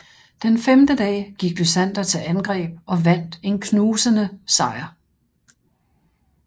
Den femte dag gik Lysander til angreb og vandt en knusende sejr